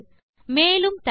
மேலும் தகவல்களுக்கு